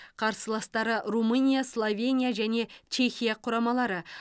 қарсыластары румыния словения және чехия құрамалары